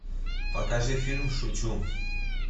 покажи фильм шучу